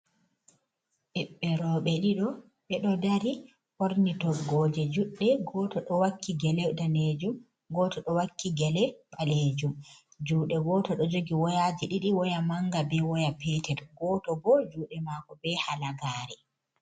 Ɓiɓɓe roɓe ɗiɗo ɓe ɗo dari ɓorni toggoje juɗɗe goto ɗo wakki gele danejum goto do wakki gele ɓalejum. Juɗe goto ɗo jogi woyaji ɗiɗi waya manga be waya petel goto bo juɗe mako be halagare.